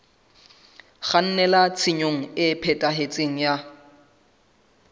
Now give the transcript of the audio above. kgannela tshenyong e phethahetseng ya